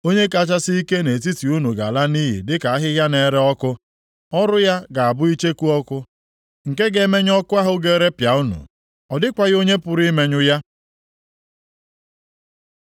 Onye kachasị ike nʼetiti unu ga-ala nʼiyi dịka ahịhịa na-ere ọkụ; ọrụ ya ga-abụ icheku ọkụ nke ga-emenye ọkụ ahụ ga-erepịa unu. Ọ dịkwaghị onye pụrụ imenyụ ya.”